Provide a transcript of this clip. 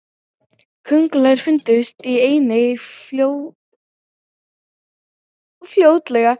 köngulær fundust einnig fljótlega